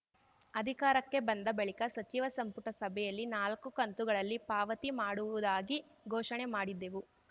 ಅಧಿಕಾರಕ್ಕೆ ಬಂದ ಬಳಿಕ ಸಚಿವ ಸಂಪುಟ ಸಭೆಯಲ್ಲಿ ನಾಲ್ಕು ಕಂತುಗಳಲ್ಲಿ ಪಾವತಿ ಮಾಡುವುದಾಗಿ ಘೋಷಣೆ ಮಾಡಿದ್ದೆವು